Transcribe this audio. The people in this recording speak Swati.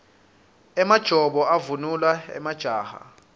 emajobo avunulwa majaha